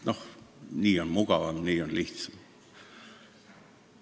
Noh, nii on mugavam, nii on lihtsam.